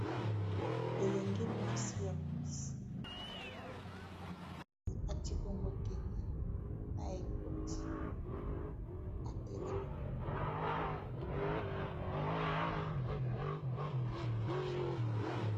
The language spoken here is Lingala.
Elenge mwasi ya polisi ekati bongo teni na ekoti atelemi.